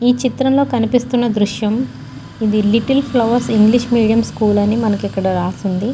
ఈ చిత్రం లో క్నిపితున్న దృశ్యం ఇది little flowers English medium school అని మనకి రాసి వుంది.